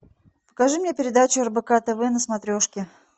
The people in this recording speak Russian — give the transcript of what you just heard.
покажи мне передачу рбк тв на смотрешке